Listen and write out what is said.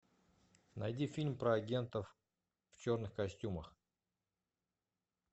найди фильм про агентов в черных костюмах